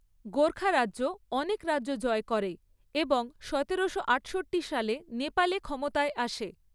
গোর্খা রাজ্য অনেক রাজ্য জয় করে এবং সতেরোশো আটষট্টি সালে নেপালে ক্ষমতায় আসে।